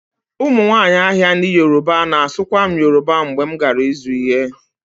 Ụmụnwaanyị ahịa ndị yoruba na-asụkwa m Yoruba mgbe m gara ịzụ ihe